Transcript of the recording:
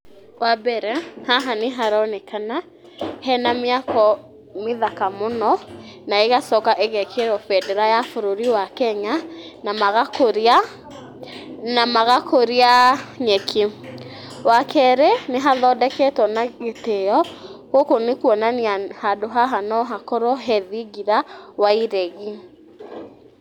Wambere, haha nĩharonekana hena mĩako mĩthaka mũno na ĩgacoka ĩgekĩrwo bendera ya bũrũri wa Kenya na magakũria, na magakũria ah nyeki. Wakerĩ, nĩhathondeketwo na gĩtĩĩo gũkũ nĩ kuonania handũ haha no hakorwo he thingira wa iregi.